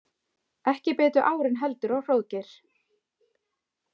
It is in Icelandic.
Ekki bitu árin heldur á Hróðgeir.